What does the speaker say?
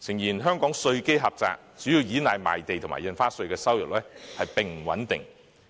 誠然，香港稅基狹窄，主要依賴賣地和印花稅的收入並不穩定，